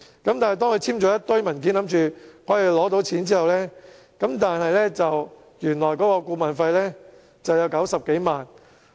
可是，當他簽署了一堆文件，以為可以獲得貸款後，發現原來顧問費為90多萬元。